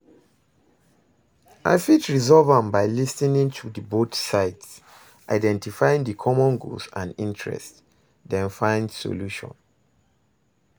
I fit resolve am by lis ten ing to di both sides, identifying di common goals and interests, then find solution.